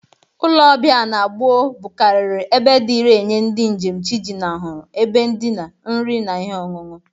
Ụlọ ọbịa na gboo bụkariri ebe dịri enye ndị njem chi jinahụrụ ebe ndịna, nri na ihi ọṅụṅụ.